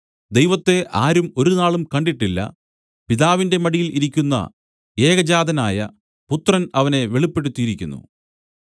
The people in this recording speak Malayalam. ദൈവത്തെ ആരും ഒരുനാളും കണ്ടിട്ടില്ല പിതാവിന്റെ മടിയിൽ ഇരിക്കുന്ന ഏകജാതനായ പുത്രൻ അവനെ വെളിപ്പെടുത്തിയിരിക്കുന്നു